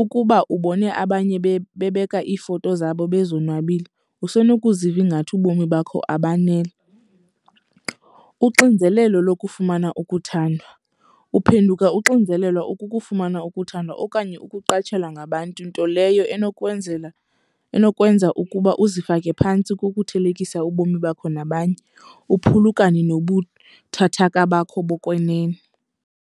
Ukuba ubone abanye bebeka iifoto zabo bezonwabile, usenokuziva ingathi ubomi bakho abaneli. Uxinzelelo lokufumana ukuthandwa. Uphenduka uxinzelelwa ukukufumana ukuthandwa okanye ukuqatshelwa ngabantu, nto leyo enokwenzela enokwenza ukuba uzifake phantsi kukuthelekisa ubomi bakho nabanye, uphulukane nobuthathaka bakho bokwenene.